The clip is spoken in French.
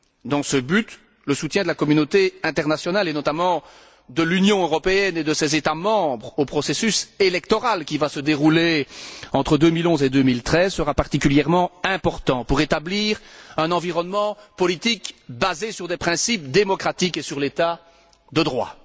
Dans ce but, le soutien de la communauté internationale, et notamment de l'Union européenne et de ses États membres, au processus électoral qui va se dérouler entre 2011 et 2013 sera particulièrement important pour établir un environnement politique basé sur des principes démocratiques et sur l'État de droit.